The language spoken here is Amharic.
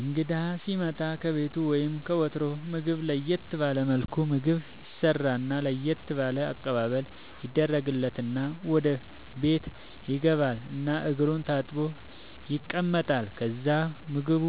እንግዳ ሢመጣ ከቤቱ ወይም ከወትሮው ምግብ ለየት ባለ መልኩ ምግብ ይሰራና ለየት ባለ አቀባበል ይደረግለትና ወደ ቤት ይገባል እና እግሩን ታጥቦ ይቀመጣል ከዛ ምግቡ